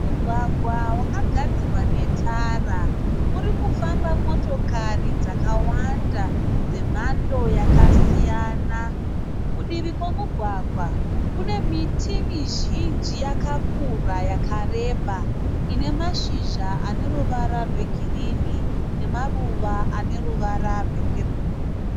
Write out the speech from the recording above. Mugwagwa wakagadzirwa netara. Uri kufamba motokari dzakawana dzemhando yakasiyana. Kudivi kwemugwagwa kune miti mizhinji yakakura, yakareba ine mazhizha ane ruvara rwegirini nemaruva ane ruvara rwepepuru.